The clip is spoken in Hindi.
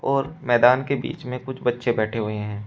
और मैदान के बीच में कुछ बच्चे बैठे हुए हैं।